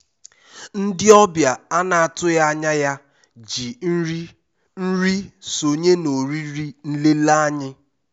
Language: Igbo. ndị ọbịa a na-atụghị anya ya ji nri nri sonye na oriri nlele anyị.